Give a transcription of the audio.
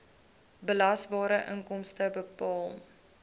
belasbare inkomste bepaal